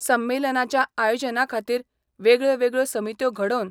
संमेलनाच्या आयोजनाखातीर वेगळयो वेगळयो समित्यो घडोवन